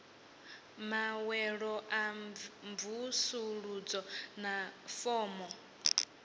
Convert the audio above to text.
maṅwalo a mvusuludzo na fomo